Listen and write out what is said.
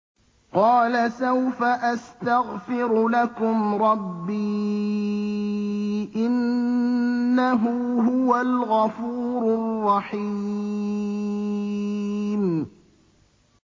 قَالَ سَوْفَ أَسْتَغْفِرُ لَكُمْ رَبِّي ۖ إِنَّهُ هُوَ الْغَفُورُ الرَّحِيمُ